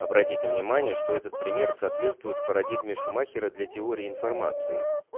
обратите внимание что этот пример соответствует парадигме шумахера для теории информации